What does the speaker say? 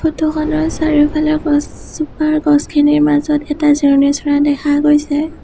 Photo খনৰ চাৰিওফালে গছজোপাৰ গছখিনিৰ মাজত এটা জিৰণি চ'ৰা দেখা গৈছে।